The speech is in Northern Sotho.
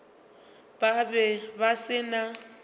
ba be ba se na